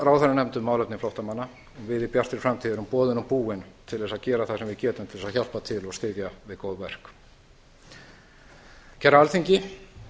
ráðherranefnd um málefni flóttamanna við í bjartri framtíð erum boðin og búin til þess að gera það sem við getum til að hjálpa til og styðja við góð verk kæra alþingi